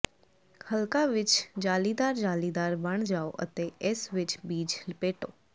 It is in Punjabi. ਹਲਕਾ ਵਿੱਚ ਜਾਲੀਦਾਰ ਜਾਲੀਦਾਰ ਬਣ ਜਾਓ ਅਤੇ ਇਸ ਵਿੱਚ ਬੀਜ ਲਪੇਟੋ